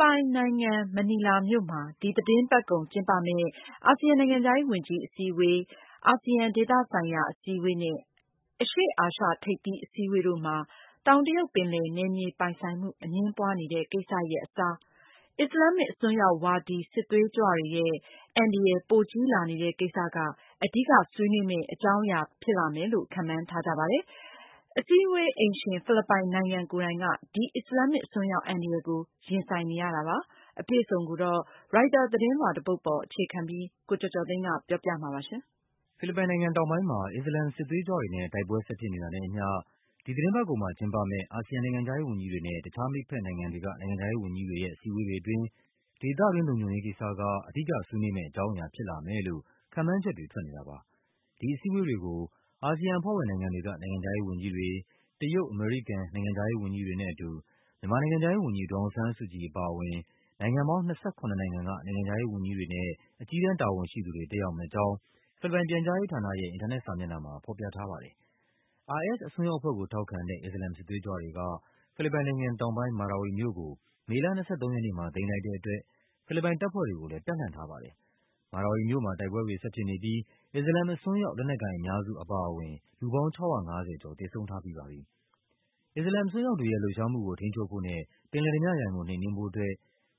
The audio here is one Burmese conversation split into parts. ပိုင်နိုင်ငံ မနီလာမြို့မှာ ဒီသီတင်းပတ်ကုန် ကျင်းပမယ့် အာဆီယံ နိုင်ငံခြားရေးဝန်ကြီး အစည်းအဝေး AMM၊ အာဆီယံ ဒေသဆိုင်ရာ အစည်းအဝေး ARF နဲ့ အရှေ့အာရှ ထိပ်သီးအစည်းအဝေး EAS တို့မှာ တောင်တရုတ်ပင်လယ် နယ်မြေပိုင် ဆိုင်မှု အငြင်းပွားနေတဲ့ ကိစ္စရပ်အစား အစ္စလာမ် အစွန်းရောက်ဝါဒီ စစ်သွေးကြွတွေရဲ့ အန္တရာယ် ပိုကြီးလာနေတဲ့ ကိစ္စက အဓိက ဆွေးနွေးကြမယ့် အကြောင်းအရာ ဖြစ်မယ်လို့ ခန့်မှန်းထားကြပါတယ်။ အစည်းအဝေး အိမ်ရှင် ဖိလစ်ပိုင် နိုင်ငံ ကိုယ်တိုင်က ဒီ အစ္စလာမ် အစွန်းရောက် အန္တရာယ်ကို ရင်ဆိုင်နေရတာပါ။ အပြည့်အစုံကို ရိုက်တာ သတင်းလွှာ တပုဒ်ပေါ် အခြေခံပြီး ကိုကျော်ကျော်သိန်းက ပြောပြပါမယ်။ ဖိလစ်ပိုင်နိုင်ငံ တောင်ပိုင်းမှာ အစ္စလာမ် စစ်သွေးကြွတွေနဲ့တိုက်ပွဲ ဆက်ဖြစ်နေတာနဲ့ အမျှ ဒီသီတင်းပတ်ကုန်မှာ ကျင်းပမယ့် အာဆီယံ နိုင်ငံခြားရေး ဝန်ကြီးတွေနဲ့ တခြား မိတ်ဘက်နို်င်ငံတွေက နိုင်ငံခြားရေး ဝန်ကြီးတွေရဲ့အစည်းအဝေးတွေ အတွင်း ဒေသတွင်း လုံခြုံရေး ကိစ္စက အဓိက ဆွေးနွေးမယ့် အကြောင်းအရာ ဖြစ်လာမယ်လို့ ခန့်မှန်းချက်တွေ ထွက်နေတာပါ။ ဒီအစည်းအဝေးတွေကို အာဆီယံ အဖွဲ့ဝင်နိုင်ငံတွေက နိုင်ငံခြားရေး ဝန်ကြီးတွေ၊ တရုတ်၊ အမေရိကန် နိုင်ငံခြားရေး ဝန်ကြီးတွေနဲ့ အတူ မြန်မာ နိုင်ငံခြားရေး ဝန်ကြီး ဒေါ်အောင်ဆန်းစုကြည် အပါအဝင် နိုင်ငံပေါင်း ၂၇ နိုင်ငံက နိုင်ငံခြားရေး ဝန်ကြီးတွေနဲ့အကြီးတန်း တာဝန်ရှိသူတွေ တက်ရောက်မယ့် အကြောင်း ဖိလစ်ပိုင် ပြန်ကြားရေး ဌာနရဲ့ အင်တာနက် စာမျက်နှာမှာ ဖော်ပြထားပါတယ်။ IS အစွန်းရောက် အဖွဲ့ကို ထောက်ခံတဲ့ အစ္စလာမ် စစ်သွေးကြွတွေက ဖိလစ်ပိုင်နိုင်ငံ တောင်ပိုင်း Marawi မြို့ကို မေလ ၂၃ ရက်နေ့မှာ သိမ်းလိုက်တဲ့ အတွက် ဖိလစ်ပိုင် တပ်ဖွဲ့တွေကိုလည်း တပ်လှန့် ထားပါတယ်။ Marawi မြို့မှာ တိုက်ပွဲတွေ ဆက်ဖြစ်နေပြီး အစ္စလာမ် အစွန်းရောက် လက်နက်ကိုင် အများစု အပါအဝင် လူပေါင်း ၆၅၀ ကျော် သေဆုံးထားပြီး ပါပြီ။ အစ္စလာမ် အစွန်းရောက်တွေရဲ့လှုပ်ရှားမှုကို ထိန်းချုပ်ဖို့နဲ့ပင်လယ်ဓားပြရန်ကို နှိမ်နင်းဖို့အတွက်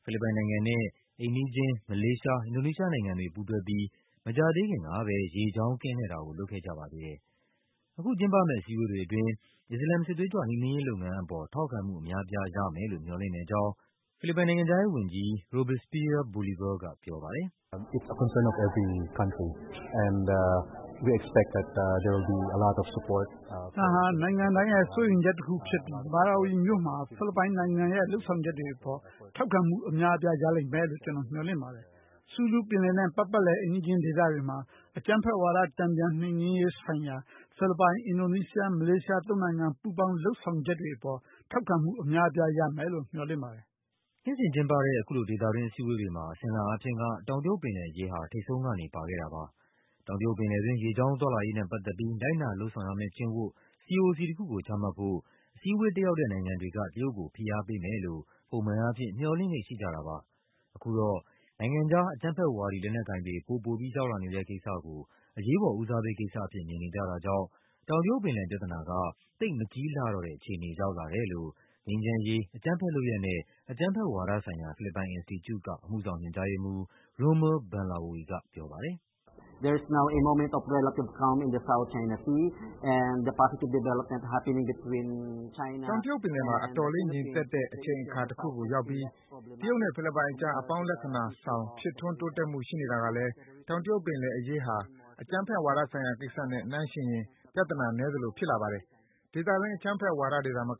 ဖိလစ်ပိုင် နိုင်ငံနဲ့အိမ်နီးချင်း မလေးရှား၊ အင်ဒိုနီးရှား နိုင်ငံတွေ ပူးတွဲပြီး မကြာသေးခင်ကဘဲ ရေကြောင်း ကင်းလှည့်တာကို လုပ်ခဲ့ကြပါသေးတယ်။ အခု ကျင်းပမယ့် အစည်းအဝေးတွေ အတွင်း အစ္စလာမ် စစ်သွေးကြွ နှိမ်နင်းရေး လုပ်ငန်းအပေါ် ထောက်ခံမှု အများအပြား ရမယ်လို့ မျှော်လင့်တဲ့ အကြောင်း ဖိလစ်ပိုင် နိုင်ငံခြားရေးဝန်ကြီး Robespierre Bolivar ကပြောပါတယ်။ “ ဒါဟာ နိုင်ငံတိုင်းရဲ့စိုးရိမ်ချက် တခုဖြစ်ပြီး မာရာဝီမြို့မှာဖိလစ်ပိုင်နိုင်ငံရဲ့လုပ်ဆောင်ချက်တွေ အပေါ် ထောက်ခံမှု အများ အပြား ရလိမ့်မယ်လို့ ကျနော် မျှော်လင့်ပါတယ်။ Sulu ပင်လယ်နဲ့ ပတ်ပတ်လည် အိမ်နီးချင်း ဒေသတွေမှာ အကြမ်းဖက်ဝါဒ တန်ပြန်နှိမ်နင်းရေး ဆိုင်ရာ ဖိလစ်ပိုင်၊ အင်ဒိုနီးရှား၊ မလေးရှား သုံးနိုင်ငံ ပူးပေါင်း လုပ်ဆောင်ချက်တွေ အပေါ် ထောက်ခံမှု အများပြား ရမယ်လို့ မျှော်လင့်ပါတယ်။ ” နှစ်စဉ်ကျင်းပတဲ့ အခုလို ဒေသတွင်း အစည်းအဝေးတွေမှာ အစဉ်အလာ အားဖြင့်က တောင်တရုတ် ပင်လယ်အရေးဟာ ထိပ်ဆုံးကနေ ပါခဲ့တာပါ။ တောင်တရုတ်ပင်လယ်တွင်း ရေကြောင်းသွားလာရေးနဲ့ ပတ်သက်ပြီး လိုက်နာ လုပ်ဆောင်ရမယ့် ကျင့်ဝတ် CoC တခုကို ချမှတ်ဖို့ အစည်းအဝေး တက်ရောက်တဲ့ နိုင်ငံတွေက တရုတ်ကို ဖိအားပေးမယ်လို့ ပုံမှန်အားဖြင့် မျှော်လင့်လေ့ ရှိကြတာပါ။ အခုတော့ နိုင်ငံခြား အကြမ်းဖက်ဝါဒီ လက်နက်ကိုင်တွေ ပိုပိုပြီး ရောက်လာနေတဲ့ ကိစ္စကို အရေးပေါ် ဦးစားပေး ကိစ္စအဖြစ် မြင်နေ ကြတာကြောင့် တောင်တရုတ် ပင်လယ် ပြဿနာက သိပ်မကြီးလှတော့တဲ့ အခြေအနေ ရောက်လာတယ်လို့ ငြိမ်းချမ်းရေး၊ အကြမ်းဖက် လုပ်ရပ်နဲ့ အကြမ်းဖက် ဝါဒဆိုင်ရာ ဖိလစ်ပိုင် အင်စတီကျူက အမှုဆောင် ညွှန်ကြားရေးမှူး Rommel Banlaoi ကပြောပါတယ်။ “တောင်တရုတ် ပင်လယ်မှာ အတော်လေး ငြိမ်သက်တဲ့ အချိန်အခါ တခုကို ရောက်ပြီး တရုတ်နဲ့ ဖိလစ်ပိုင်အကြား အပေါင်းလက္ခဏာဆောင် ဖြစ်ထွန်းတိုးတက်မှု ရှိနေတာကလည်းတောင်တရုတ် ပင်လယ်အရေးဟာ အကြမ်းဖက်ဝါဒ ဆိုင်ရာကိစ္စနဲ့ နှိုင်းယှဉ်ရင် ပြဿနာ နည်းသလို ဖြစ်လာပါတယ်။ ဒေသတွင်း အကြမ်းဖက်ဝါဒီတွေ သာမက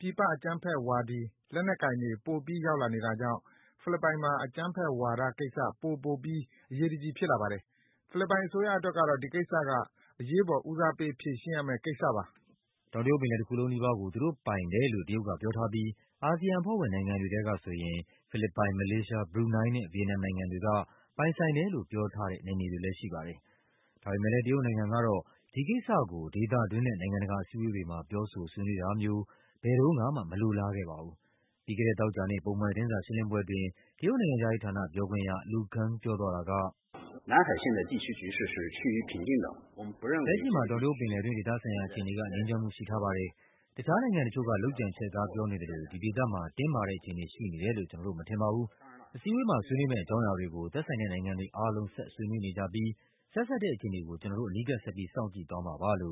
ပြည်ပ အကြမ်းဖက်ဝါဒီ လက်နက် ကိုင်တွေ ပိုပြီး ရောက်လာနေတာကြောင့် ဖိလစ်ပိုင်မှာ အကြမ်းဖက်ဝါဒ ကိစ္စက ပိုပိုပြီး အရေးတကြီး ဖြစ်လာပါတယ်။ ဖိလစ်ပိုင် အစိုးရ အတွက်တော့ ဒီကိစ္စက အရေးပေါ် ဦးစားပေး ဖြေရှင်းရမယ့် ကိစ္စပါ။” တောင်တရုတ်ပင်လယ် တခုလုံး နီးပါးကို သူတို့ပိုင်တယ်လို့တရုတ်က ပြောထားပြီး အာဆီယံ အဖွဲ့ဝင်နိုင်ငံတွေထဲက ဆိုရင် ဖိလစ်ပိုင်၊ မလေးရှား၊ ဘရူနိုင်းနဲ့ ဗီယက်နမ် နိုင်ငံတွေက ပိုင်ဆိုင်တယ်လို့ ပြောထားတဲ့ နယ်မြေတွေလည်း ရှိပါတယ်။ ဒါပေမယ့်လည်း တရုတ်နိုင်ငံ ကတော့ ဒီကိစ္စကို ဒေသတွင်းနဲ့ နိုင်ငံတကာ အစည်းအဝေး တွေမှာ ပြောဆို ဆွေးနွေးတာမျိုး ဘယ်တုန်းကမှ မလိုလား ခဲ့ပါဘူး။ ပြီးခဲ့တဲ့ သောကြာနေ့ ပုံမှန်သတင်းစာ ရှင်းလင်းပွဲအတွင်း တရုတ် နိုင်ငံခြားရေးဌာန ပြောခွင့်ရ Lu Kang ပြောသွားတာက “လက်ရှိမှာ တောင်တရုတ် ပင်လယ်တွင်း ဒေသဆိုင်ရာ အခြေအနေက ငြိမ်းချမ်းမှု ရှိထားပါတယ်။ တခြား နိုင်ငံတချို့ က လုပ်ကြံချဲ့ကား ပြောနေသလို ဒီဒေသမှာ တင်းမာတဲ့ အခြေအနေ ရှိနေတယ်လို့ ကျနော်တို့ မထင်ပါဘူး။ အစည်းအဝေးမှာ ဆွေးနွေးမယ့် အကြောင်းအရာ တွေကို သက်ဆိုင်တဲ့ နိုင်ငံတွေ အားလုံး ဆက်ဆွေးနွေး နေကြပြီး ဆက်စပ်တဲ့ အခြေအနေကို ကျနော်တို့ အနီးကပ် ဆက်ပြီး စောင့်ကြည့်သွားမှာပါ။”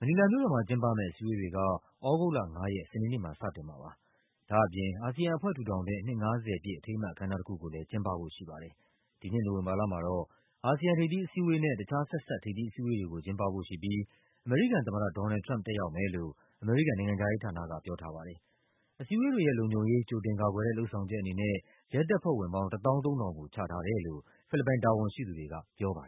မနီလာမြို့တော်မှာ ကျင်းပမယ့် အစည်းအဝေးတွေက သြဂုတ်လ ၅ ရက် စနေနေ့မှာ စတင်မှာပါ။ ဒါ့အပြင် အာဆီယံအဖွဲ့ ထူထောင်တဲ့ နှစ် ၅၀ ပြည့် အထိမ်းအမှတ် အခမ်းအနား တခုကိုလည်း ကျင်းပဖို့ရှိပါတယ်။ ဒီနှစ် နိုဝင်ဘာလမှာတော့ အာဆီယံ ထိပ်သီး အစည်းအဝေးနဲ့ တခြား ဆက်စပ် ထိပ်သီးအစည်းအဝေးတွေကို ကျင်းပဖို့ရှိပြီး အမေရိကန် သမ္မတ ဒေါ်နယ်လ်ဒ် ထရမ့်ပ် တက်ရောက်မယ်လို့ အမေရိကန် နိုင်ငံခြားရေးဌာနက ပြောထားပါတယ်။ အစည်းအဝေးတွေရဲ့လုံခြုံရေး ကြိုတင်ကာကွယ်တဲ့ လုပ်ဆောင်ချက် အနေနဲ့ ရဲတပ်ဖွဲ့ဝင်ပေါင်း ၁၃,၀၀၀ ကိုချထားတယ်လို့ ဖိလစ်ပိုင် တာဝန်ရှိသူတွေက ပြောပါတယ်